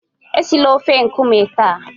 esila ofe nkume taa!